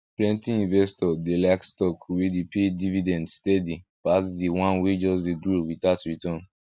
plenti investors dey like stocks wey dey pay dividend steady pass the one wey just dey grow without return